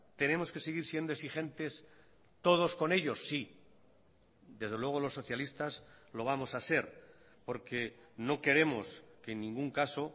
tenemos que seguir siendo exigentes todos con ellos sí desde luego los socialistas lo vamos a ser porque no queremos que en ningún caso